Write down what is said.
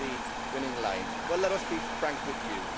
That was the winning line. Well, let us be frank with you.